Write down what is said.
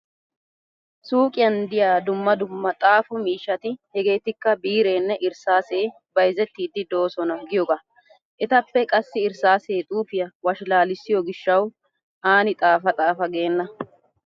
Suuqiyan diya dumma dumma xaafo miishshati hegeetikka biireenne erssaasee bayzettiiddi doosona giyoogaa. Etappe qassi erssaase xuufiya washalaalissiyo gishshawu aani xaafa xaafa geenna.